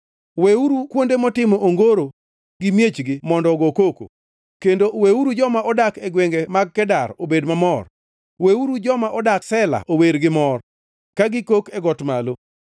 Weuru kuonde motimo ongoro gi miechgi mondo ogo koko; kendo weuru joma odak e gwenge mag Kedar obed mamor. Weuru joma odak Sela ower gi mor, ka gikok ewi got malo.